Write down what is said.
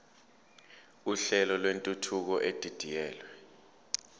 uhlelo lwentuthuko edidiyelwe